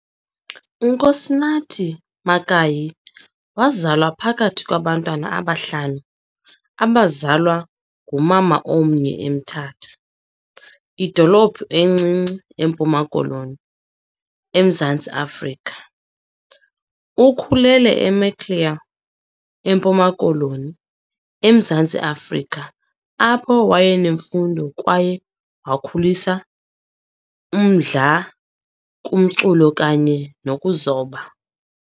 UNkosinathi Mankayi wazalwa phakathi kwabantwana abahlanu abazalwa ngumama omnye eMthatha, idolophu encinci eMpuma Koloni, eMzantsi Afrika. Ukhulele eMaclear, eMpuma Koloni, eMzantsi Afrika apho wayenemfundo kwaye wakhulisa umdla kumculo kanye nokuzoba.